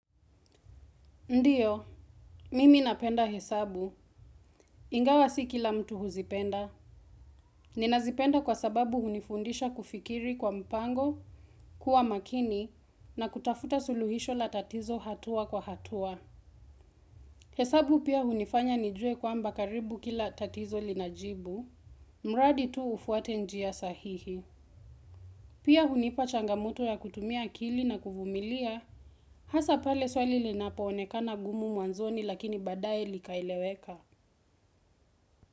Ndiyo, mimi napenda hesabu. Ingawa si kila mtu huzipenda. Nina zipenda kwa sababu hunifundisha kufikiri kwa mpango, kuwa makini, na kutafuta suluhisho la tatizo hatua kwa hatua. Hesabu pia hunifanya nijue kwamba karibu kila tatizo linajibu. Mradi tu ufuate njia sahihi. Pia hunipa changamoto ya kutumia akili na kuvumilia. Hasa pale swali linapaonekana gumu mwanzoni lakini badai likaeleweka.